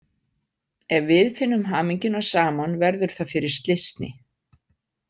Ef við finnum hamingjuna saman verður það fyrir slysni.